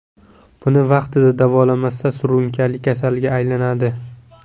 Buni vaqtida davolamasa, surunkali kasalga aylanadi.